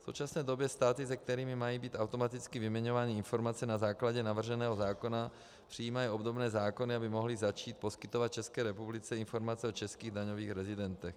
V současné době státy, s kterými mají být automaticky vyměňovány informace na základě navrženého zákona, přijímají obdobné zákony, aby mohly začít poskytovat České republice informace o českých daňových rezidentech.